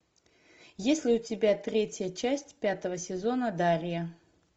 есть ли у тебя третья часть пятого сезона дарья